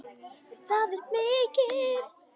Það er mikið.